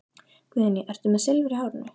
Guðný: Ertu með Silfur í hárinu?